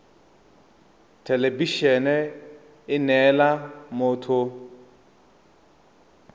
thelebi ene e neela motho